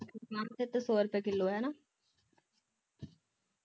ਮਾਝੇ ਤਾਂ ਸੌ ਰੁਪਏ ਕਿਲੋ ਹਣਾ